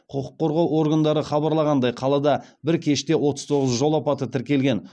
құқық қорғау органдары хабарланғандай қалада бір кеште отыз тоғыз жол апаты тіркелген